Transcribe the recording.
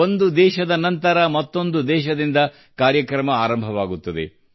ಒಂದು ದೇಶದ ನಂತರ ಮತ್ತೊಂದು ದೇಶದಿಂದ ಕಾರ್ಯಕ್ರಮ ಆರಂಭವಾಗುತ್ತದೆ